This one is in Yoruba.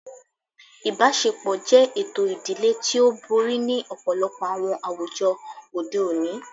Ibaṣepọ jẹ eto idile ti o bori ni ọpọlọpọ awọn awujọ ode oni